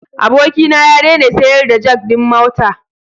Abokina ya daina sayar da jak din mota.